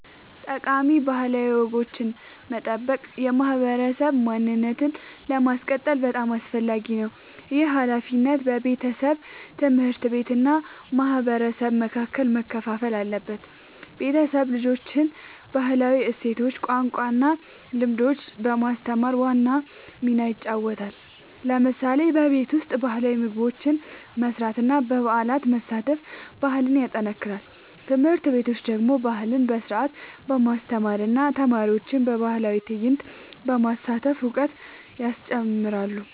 ጠቃሚ ባህላዊ ወጎችን መጠበቅ የማህበረሰብ ማንነትን ለማስቀጠል በጣም አስፈላጊ ነው። ይህ ሃላፊነት በቤተሰብ፣ ትምህርት ቤት እና በማህበረሰብ መካከል መከፋፈል አለበት። ቤተሰብ ልጆችን ባህላዊ እሴቶች፣ ቋንቋ እና ልምዶች በማስተማር ዋና ሚና ይጫወታል። ለምሳሌ በቤት ውስጥ ባህላዊ ምግቦች መስራት እና በበዓላት መሳተፍ ባህልን ያጠናክራል። ትምህርት ቤቶች ደግሞ ባህልን በስርዓት በማስተማር እና ተማሪዎችን በባህላዊ ትዕይንቶች በማሳተፍ እውቀት ያስጨምራሉ።